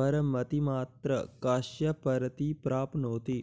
परमतिमात्र काश्य परति प्राप्नोति